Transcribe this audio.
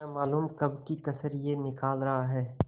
न मालूम कब की कसर यह निकाल रहा है